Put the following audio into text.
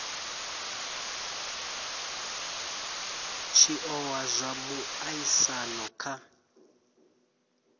tshi oa zwa muaisano kha